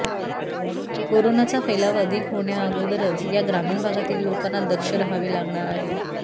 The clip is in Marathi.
कोरोनाचा फैलाव अधिक होण्या अगोदरच या ग्रामीण भागातील लोकांना दक्ष राहावे लागणार आहे